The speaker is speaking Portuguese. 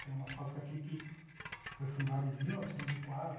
Tem uma fábrica aqui que foi fundada em mil novecentos e quatro